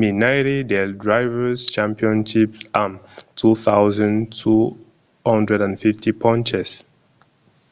menaire del drivers' championship amb 2 250 ponches